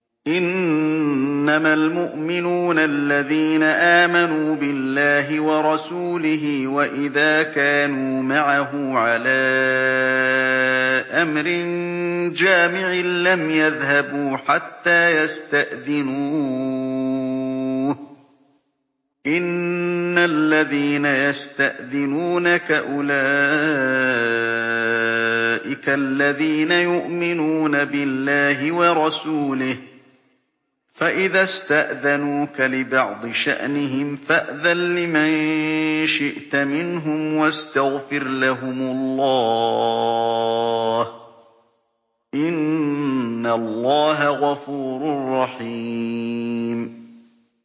إِنَّمَا الْمُؤْمِنُونَ الَّذِينَ آمَنُوا بِاللَّهِ وَرَسُولِهِ وَإِذَا كَانُوا مَعَهُ عَلَىٰ أَمْرٍ جَامِعٍ لَّمْ يَذْهَبُوا حَتَّىٰ يَسْتَأْذِنُوهُ ۚ إِنَّ الَّذِينَ يَسْتَأْذِنُونَكَ أُولَٰئِكَ الَّذِينَ يُؤْمِنُونَ بِاللَّهِ وَرَسُولِهِ ۚ فَإِذَا اسْتَأْذَنُوكَ لِبَعْضِ شَأْنِهِمْ فَأْذَن لِّمَن شِئْتَ مِنْهُمْ وَاسْتَغْفِرْ لَهُمُ اللَّهَ ۚ إِنَّ اللَّهَ غَفُورٌ رَّحِيمٌ